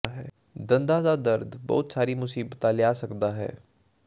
ਦੰਦਾਂ ਦਾ ਦਰਦ ਬਹੁਤ ਸਾਰੀਆਂ ਮੁਸੀਬਤਾਂ ਲਿਆ ਸਕਦਾ ਹੈ